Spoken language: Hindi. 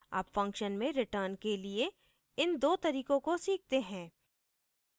अब function में return के लिए इन 2 तरीकों को सीखते हैं